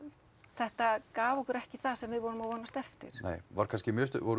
þetta gaf okkur ekki það sem við vorum að vonast eftir nei voru kannski